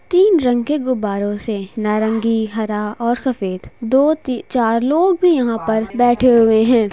तीन रंग के गुब्बारों से नारंगी हरा और सफ़ेद दो ती-चार लोग भी यहाँ पर बैठे हुए है।